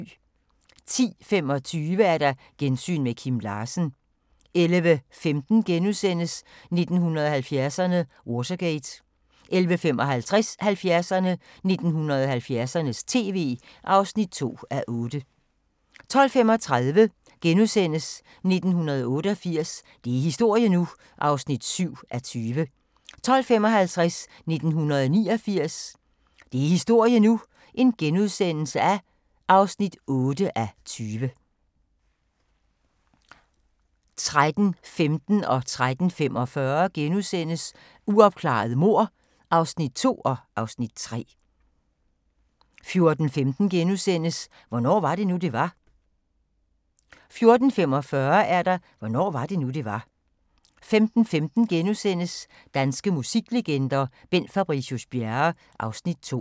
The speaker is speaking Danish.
10:25: Gensyn med Kim Larsen 11:15: 70'erne: Watergate (1:8)* 11:55: 70'erne: 1970'ernes tv (2:8) 12:35: 1988 – det er historie nu! (7:20)* 12:55: 1989 – det er historie nu! (8:20)* 13:15: Uopklarede mord (2:6)* 13:45: Uopklarede mord (3:6)* 14:15: Hvornår var det nu, det var? * 14:45: Hvornår var det nu, det var? 15:15: Danske musiklegender: Bent Fabricius-Bjerre (Afs. 2)*